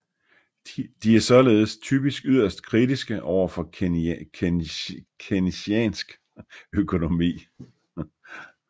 De er således typisk yderst kritiske overfor keynesiansk økonomi